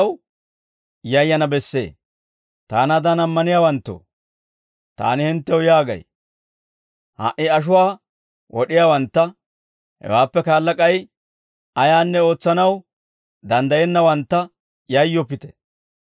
«Taanaadan ammaniyaawanttoo, taani hinttew yaagay; ha"i ashuwaa wod'iyaawantta, hewaappe kaala k'ay ayaanne ootsanaw danddayennawantta yayyoppite.